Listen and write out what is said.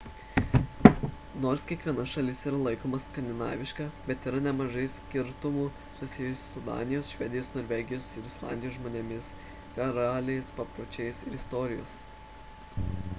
nors kiekviena šalis ir laikoma skandinaviška bet yra nemažai skirtumų susijusių su danijos švedijos norvegijos ir islandijos žmonėmis karaliais papročiais ir istorija